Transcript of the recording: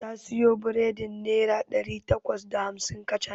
Ta siyo biredin naira ɗari takwas da hamsin kacal.